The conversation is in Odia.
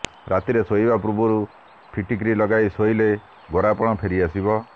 ରାତିରେ ଶୋଇବା ପୂର୍ବରୁ ଫିଟ୍କିରି ଲଗାଇ ଶୋଇଲେ ଗୋରାପୋଣ ଫେରିଆସିବ